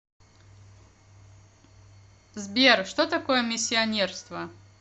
сбер что такое миссионерство